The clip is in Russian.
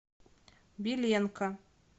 беленко